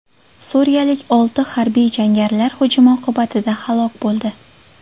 Suriyalik olti harbiy jangarilar hujumi oqibatida halok bo‘ldi.